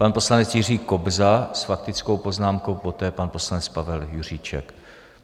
Pan poslanec Jiří Kobza s faktickou poznámkou, poté pan poslanec Pavel Juříček.